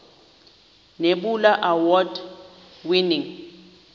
nebula award winning